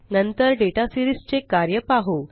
नंतर data series चे कार्य पाहु